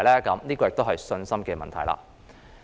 這也是信心的問題。